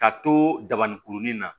Ka to dabani kurunin na